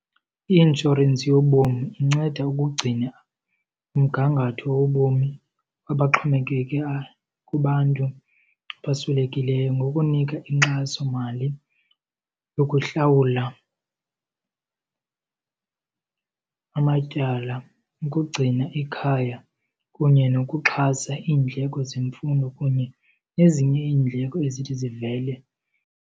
I-inshorensi yobomi inceda ukugcina umgangatho wobomi abaxhomekeke kubantu abaswelekelweyo ngokunika inkxasomali yokuhlawula amatyala, ukugcina ikhaya kunye nokuxhasa iindleko zemfundo kunye nezinye iindleko ezithi zivele.